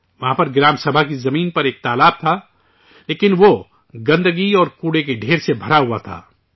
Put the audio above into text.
وہاں پر گرام سبھا کی زمین پر ایک تالاب تھا، لیکن وہ، گندگی اور کوڑے کے ڈھیر سے بھرا ہوا تھا